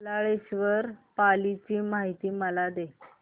बल्लाळेश्वर पाली ची मला माहिती दे